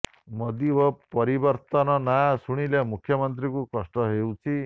ମୋଦି ଓ ପରିବର୍ତନ ନାଁ ଶୁଣିଲେ ମୁଖ୍ୟମନ୍ତ୍ରୀଙ୍କୁ କଷ୍ଟ ହେଉଛି